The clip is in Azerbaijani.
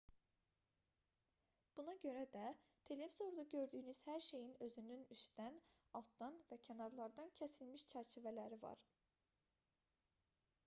buna görə də televizorda gördüyünüz hər şeyin özünün üstdən altdan və kənarlardan kəsilmiş çərçivələri var